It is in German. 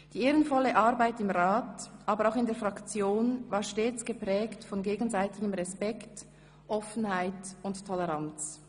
Die ehrenvolle Arbeit im Rat aber auch in der Fraktion war stets geprägt von gegenseitigem Respekt, Offenheit und Toleranz.